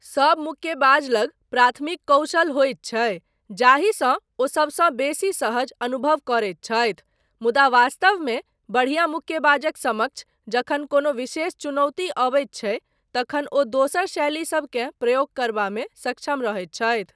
सब मुक्केबाज लग प्राथमिक कौशल होइत छै जाहिसँ ओ सबसँ बेसी सहज अनुभव करैत छथि मुदा वास्तवमे बढ़िया मुक्केबाजक समक्ष जखन कोनो विशेष चुनौती अबैत छै तखन ओ दोसर शैलीसबकेँ प्रयोग करबामे सक्षम रहैत छथि।